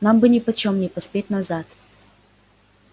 нам бы нипочём не поспеть назад